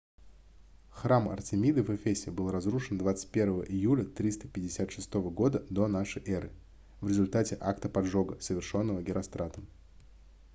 храм артемиды в эфесе был разрушен 21 июля 356 года до н э в результате акта поджога совершённого геростратом